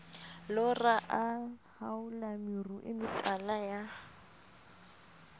lora a haola meruemetala ya